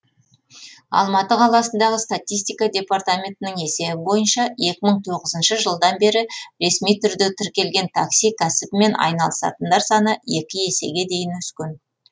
алматы қаласындағы статистика департаментінің есебі бойынша екі мың тоғызыншы жылдан бері ресми түрде тіркелген такси кәсібімен айналысатындар саны екі есеге дейін өскен